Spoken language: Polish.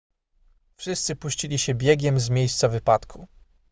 wszyscy puścili się biegiem z miejsca wypadku